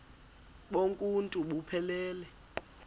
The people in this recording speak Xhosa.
bonk uuntu buphelele